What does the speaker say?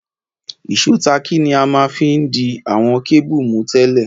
Ìsó tààkì ni a ma n fi di àwon cable mú tẹ́lẹ̀